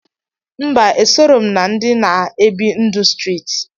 Mba esorọ m na ndi na ebi ndụ striti.